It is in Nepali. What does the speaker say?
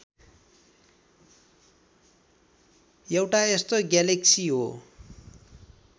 एउटा यस्तो ग्यालेक्सी हो